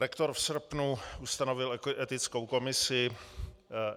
Rektor v srpnu ustanovil etickou komisi.